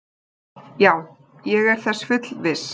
Já, ég er þess fullviss.